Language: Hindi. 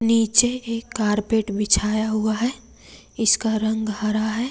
नीचे एक कारपेट बिछाया हुआ है इसका रंग हरा है।